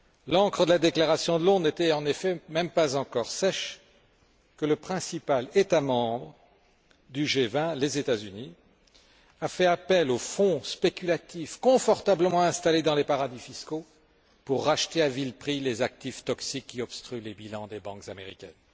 L'encre de la déclaration de Londres n'était en effet même pas encore sèche que le principal État membre du G20, les États Unis, a fait appel aux fonds spéculatifs confortablement installés dans les paradis fiscaux pour racheter à vil prix les actifs toxiques qui obstruent les bilans des banques américaines.